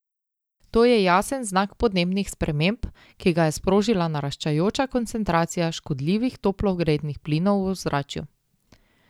To je jasen znak podnebnih sprememb, ki ga je sprožila naraščajoča koncentracija škodljivih toplogrednih plinov v ozračju.